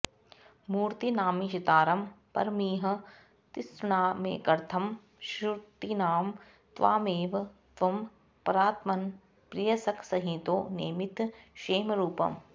मूर्तीनामीशितारं परमिह तिसृणामेकमर्थं श्रुतीनां त्वामेव त्वं परात्मन् प्रियसखसहितो नेमिथ क्षेमरूपम्